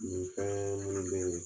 Min fɛn minnu bɛ yen